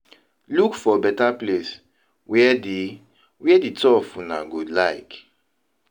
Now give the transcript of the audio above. Look for better place wey di wey di two of una go like